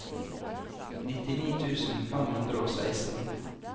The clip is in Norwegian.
nittini tusen fem hundre og seksten